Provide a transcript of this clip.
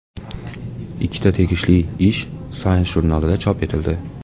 Ikkita tegishli ish Science jurnalida chop etildi .